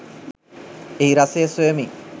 එහි රසය සොයමි